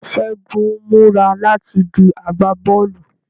Segun ń mura lati di agbabọọlu